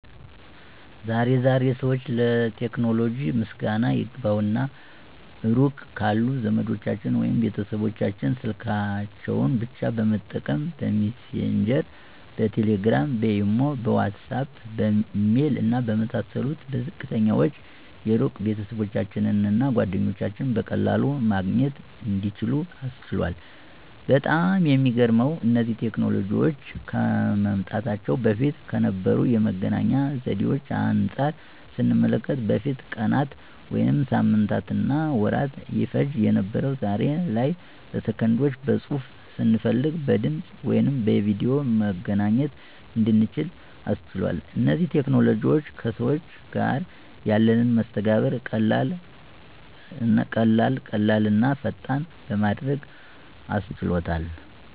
ዛሬ ዛሬ ሰዎች ለቴክኖሎጂ ምስጋና ይግባውና ሩቅ ካሉ ዘመዶቻቸው ወይም ቤተሰቦቻቸው ስልካቸውን ብቻ በመጠቀም :- በሚሴንጀር፣ በቴሌግራም፣ በኢሞ፣ በዋትስአፕ፣ በኢሜል እና በመሳሰሉት በዝቅተኛ ወጪ የሩቅ ቤተሰባቸውን እና ጓደኞቻቸውን በቀላሉ ማግኘት እንዲችሉ አስችሏል። በጣም የሚገርመው እነዚህ ቴክኖሎጂዎች ከመምጣታቸው በፊት ከነበሩ የመገናኛ ዘዴዎች አንጻር ስንመለከተው በፊት ቀናት ወይም ሳምንታትና ወራት ይፈጅ የነበረው ዛሬ ላይ በሰከንዶች በፅሁፍ፣ ስንፈልግ በድምፅ ወይም በቪድዮ መገናኘት እንድንችል አስችሏል። እነዚህ ቴክኖሎጂዎችም ከሰዎች ጋር ያለንን መስተጋብር ቀላል ቀላልና ፈጣን በማድረግ አሻሽሎታል።